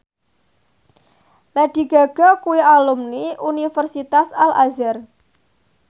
Lady Gaga kuwi alumni Universitas Al Azhar